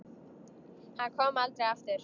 Hann kom aldrei aftur.